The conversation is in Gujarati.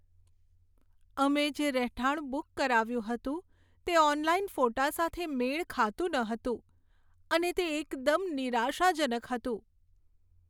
અમે જે રહેઠાણ બુક કરાવ્યું હતું, તે ઓનલાઈન ફોટા સાથે મેળ ખાતું ન હતું, અને તે એકદમ નિરાશાજનક હતું.